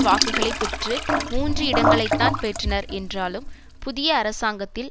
வாக்குகளை பெற்று மூன்று இடங்களைத்தான் பெற்றனர் என்றாலும் புதிய அரசாங்கத்தில்